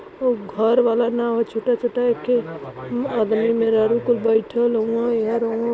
वो घर वाला नाव छोटा छोटा एके आदमी मेहरारु कुल बेठल हुअन एहर ओहर।